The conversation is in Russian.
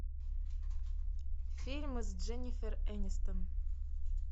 фильмы с дженнифер энистон